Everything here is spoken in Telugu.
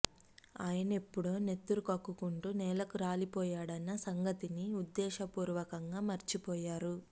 ఆయనెప్పుడో నెత్తురు కక్కుకుంటూ నేలకు రాలిపోయాడన్న సంగతిని ఉద్దేశ పూర్వకంగా మరిచిపోయారు